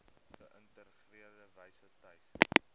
geïntegreerde wyse tuis